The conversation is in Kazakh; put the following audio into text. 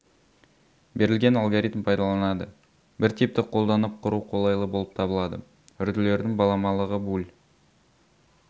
берілген алгоритм пайдаланады бір типті қолданып құру қолайлы болып табылады үрділердің баламалығы буль